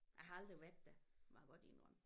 Jeg har aldrig været der må jeg godt indrømme